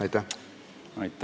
Aitäh!